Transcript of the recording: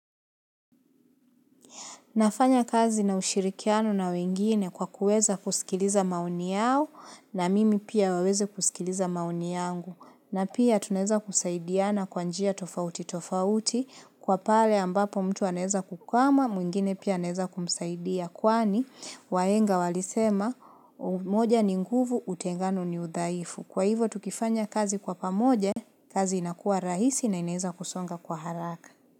Nafanya kazi na ushirikiano na wengine kwa kuweza kusikiliza maoni yao na mimi pia waweze kusikiliza maoni yangu. Na pia tunaeza kusaidiana kwa njia tofauti tofauti kuwa pale ambapo mtu anaeza kukwama mwingine pia anaeza kumsaidia. Kwani wahenga walisema umoja ni nguvu utengano ni udhaifu. Kwa hivo tukifanya kazi kwa pamoja, kazi inakua rahisi na inaeza kusonga kwa haraka.